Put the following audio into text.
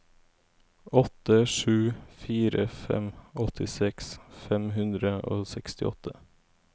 åtte sju fire fem åttiseks fem hundre og sekstiåtte